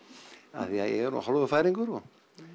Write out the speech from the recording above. af því að ég er nú hálfur Færeyingur og